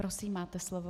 Prosím, máte slovo.